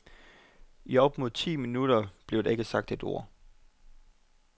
I op mod ti minutter blev der ikke sagt et ord.